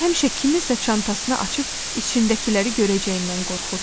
Həmişə kimsə çantasını açıb içindəkiləri görəcəyindən qorxurdu.